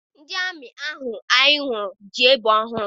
Ndị amị ahụ anyị hụrụ ji egbe ọhụụ.